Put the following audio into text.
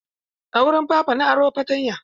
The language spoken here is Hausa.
A wurin Papa na aro flaya.